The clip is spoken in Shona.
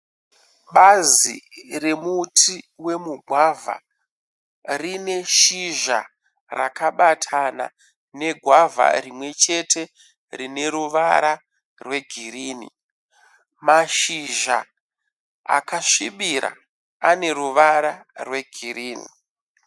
Bazi remuti wemugwagea rine shizha rakabatana negwavha rimwechete rineruvara rwegirinhi. Mashizha akasvibirira aneruvara rwegirinhi.